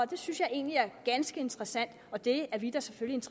det synes jeg egentlig er ganske interessant og det er vi da selvfølgelig